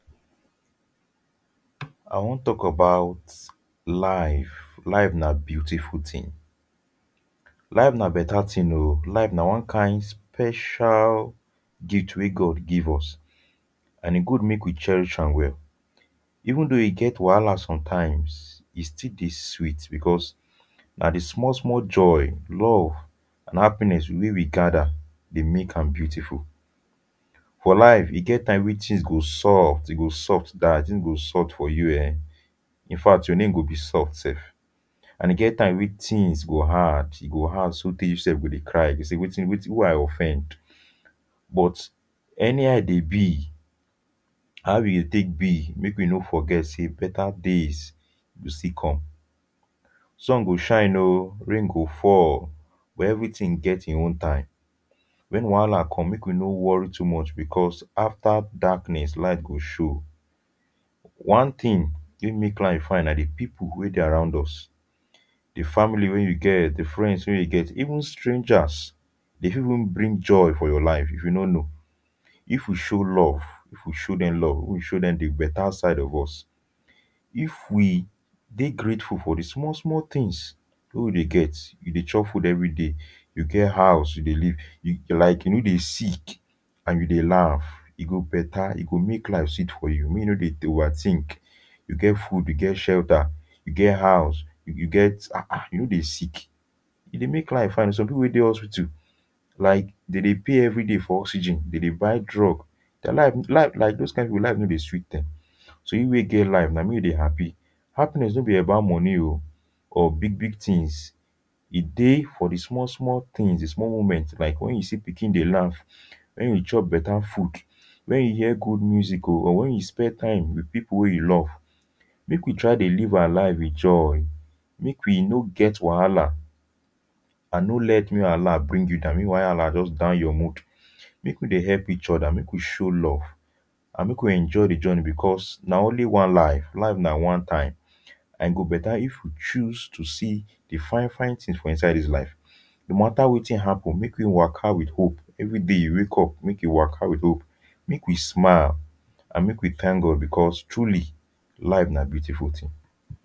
I wan talk about life life nah beautiful thing life na better thing o life nah one kind special gift weh God give us and e good mak we cherish am well even though e get wahala sometimes e still deh sweet because nah the small small joy love and happiness weh we gather deh make am beautiful for life e get time weh things go soft e go soft die things go soft for you um infact your name go be soft sef and e get time weh thing go hard e go hard so teh you sef go deh cry you go say wetin wetin who i offend but anyhow e deh be how e deh take be make we no forget say better days go still come sun go shine o rain go fall but everything get hin own time when wahala come make we no worry too much because after darkness light go show one thing weh make life fine nah the people weh deh around us the family weh you get the friends weh you get even strangers they fit even bring joy for your life if you no know if we show love if we show them love if we show them the better side of us if we deh grateful for the small small things weh we deh get we deh chop food everyday you get house you deh live you like you no deh sick and you deh laugh e go better e go make life sweet for you make you no deh over think you get food you get shelter you get house if you get um um you no deh sick e deh make life and some people wey deh hospital like them deh pay everyday for oxygen them deh buy drug their life life like those kind people life no deh even deh sweet them so you weh get life nah we deh happy happiness no be about money o or big big things e deh for the small small things the small moments like when you see pikin deh laugh when you chop better food when you hear good music o or when you spend time with people weh you love make we try deh live our life with joy make we no get wahala and no let make wahala bring you down make wahala just down your mood make we deh help each other make we show love and make we enjoy the journey because nah only one life life nah one time and go better if we chose to see the fine fine things for inside this life no matter wetin happen make we waka with hope everyday you wake up make you waka with hope make we smile and make we thank God because truly life nah beautiful thing